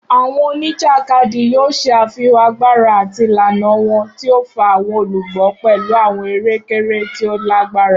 Awọn onijakadi yoo ṣe afihan agbara ati ilana wọn, ti o fa awọn olugbo pẹlu awọn ere-kere ti o lagbara.